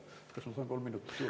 Kas ma saan kolm minutit juurde?